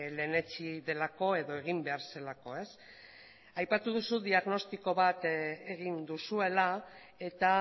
lehenetsi delako edo egin behar zelako ez aipatu duzu diagnostiko bat egin duzuela eta